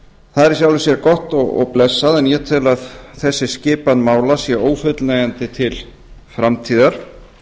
það er í sjálfu sér gott og blessað en ég tel að þessi skipan mála sé ófullnægjandi til framtíðar